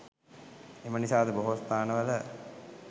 එම නිසා අද බොහෝ ස්ථානවල